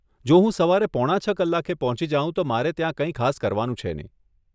જો હું સવારે પોણા છ કલાકે પહોંચી જાઉં તો મારે ત્યાં કઈ ખાસ કરવાનું છે નહી.